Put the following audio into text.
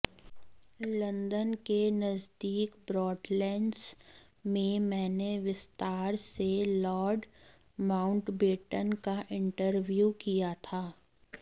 London के नजदीक Broadlands में मैंने विस्तार से लार्ड माउंटबेटन का इंटरव्यू किया था